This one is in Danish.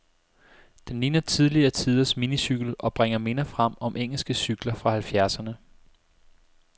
Den ligner tidligere tiders minicykel, og bringer minder frem om engelske cykler fra halvfjerdserne.